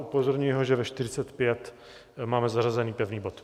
Upozorňuji ho, že ve 13.45 máme zařazený pevný bod.